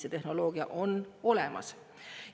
See tehnoloogia on olemas!